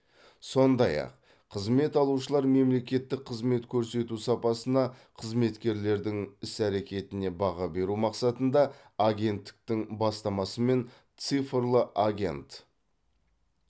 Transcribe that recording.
сондай ақ қызмет алушылар мемлекеттік қызмет көрсету сапасына қызметкерлердің іс әрекетіне баға беру мақсатында агенттіктің бастамасымен цифрлы агент